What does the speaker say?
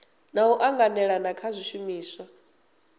na u anganelana kha zwishumiswa